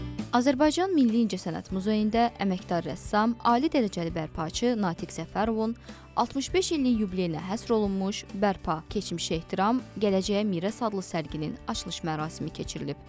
Azərbaycan Milli İncəsənət Muzeyində əməkdar rəssam, ali dərəcəli bərpaçı Natiq Səfərovun 65 illik yubileyinə həsr olunmuş bərpa, keçmişə ehtiram, gələcəyə miras adlı sərgisinin açılış mərasimi keçirilib.